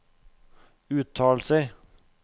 uttalelser